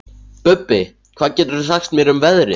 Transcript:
Bubbi, hvað geturðu sagt mér um veðrið?